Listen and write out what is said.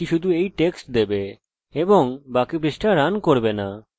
তাই আমি কি করব যে এখানে ব্যাকআপ খুলবো